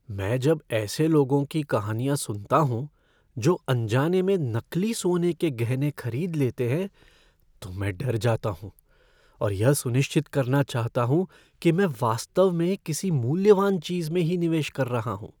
मैं जब ऐसे लोगों की कहानियां सुनता हूँ जो अनजाने में नकली सोने के गहने खरीद लेते हैं तो मैं डर जाता हूँ और यह सुनिश्चित करना चाहता हूँ कि मैं वास्तव में किसी मूल्यवान चीज़ में ही निवेश कर रहा हूँ।